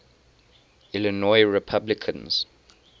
illinois republicans